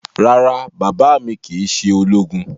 Rárá, baba mi kii ṣe ologun